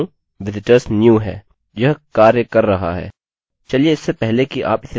यह कार्य कर रहा है चलिए इससे पहले कि आप इसे रन करें तुरंत इसे देख लें